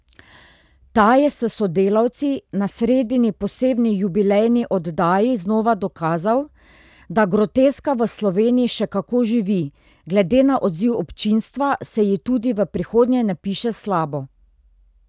Ta je s sodelavci na sredini posebni jubilejni oddaji znova dokazal, da groteska v Sloveniji še kako živi, glede na odziv občinstva, se ji tudi v prihodnje ne piše slabo.